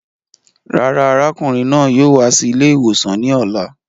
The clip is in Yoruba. Rárá, arákùnrin náà yóò wá sí ilè ìwòsàn ní ọ̀la